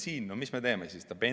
No mis me teeme siis?